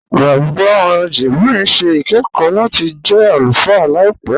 Bàbá Jibril n ṣẹ̀ ikẹ̀kọ̀ lati jẹ́ alúfáà làìpẹ.